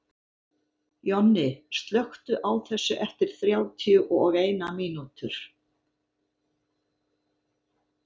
Jonni, slökktu á þessu eftir þrjátíu og eina mínútur.